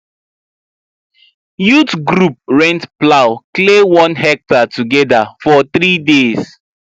youth group rent plow clear one hectare together for three days